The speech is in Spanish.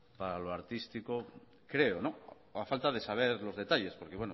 para lo artístico creo o a falta de saber los detalles porque